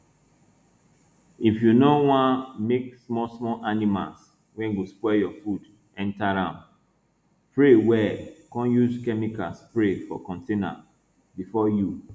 if you no wan make small small animals wey go spoil your food enter am pray well come use chemical spray for container before you